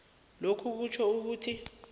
lokhu kutjho ukuthi